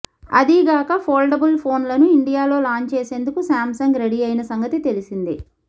అదీగాక ఫోల్డబుల్ ఫోన్లను ఇండియాలో లాంచ్ చేసేందుకు శాంసంగ్ రెడీ అయిన సంగతి తెలిసిందే